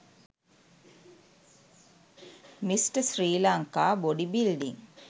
mr sri lanka body building